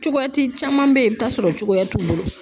Cogoya ti caman be yen, i bi ta' sɔrɔ cogoya t'u bolo.